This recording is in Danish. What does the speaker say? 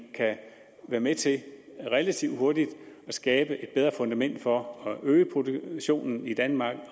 kan være med til relativt hurtigt at skabe et bedre fundament for at øge produktionen i danmark